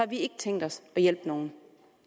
vi ikke tænkt os at hjælpe nogen